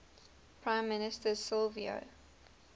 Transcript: prime minister silvio